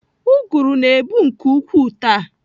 Ụgụrụ na-ebu nke ukwuu taa.